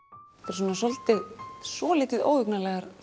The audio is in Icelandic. svona svolítið svolítið óhugnarlega